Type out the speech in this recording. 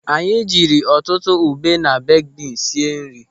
Anyị jiri ọtụtụ ube na beeki bins sie nri.